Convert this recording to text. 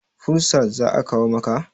fursalk za a kawo maka?